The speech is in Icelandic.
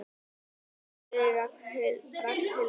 Ha sagði Ragnhildur.